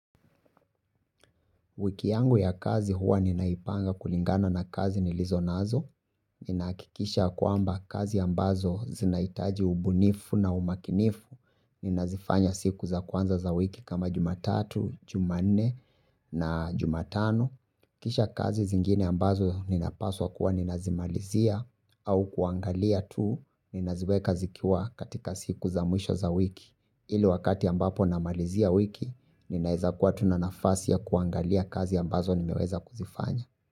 Wiki yangu ya kazi huwa ninaipanga kulingana na kazi nilizonazo, ninahakikisha kwamba kazi ambazo zinahitaji ubunifu na umakinifu ninazifanya siku za kwanza za wiki kama jumatatu, jumanne na jumatano. Kisha kazi zingine ambazo ninapaswa kuwa ninazimalizia au kuangalia tu ninaziweka zikiwa katika siku za mwisho za wiki. Ile wakati ambapo namalizia wiki, ninaweza kuwa tu na nafasi ya kuangalia kazi ambazo nimeweza kuzifanya.